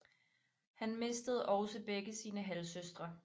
Han mistede også begge sine halvsøstre